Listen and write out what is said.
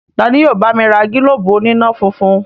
Tani yóò bá mi ra gílóbù oníná-funfun?